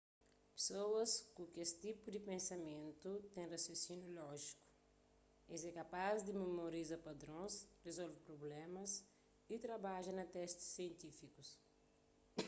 pesoas ku es tipu di pensamentu ten rasionsíniu lójiku es é kapaz di memoriza padrons rezolve prublémas y trabadja na testis sientifíku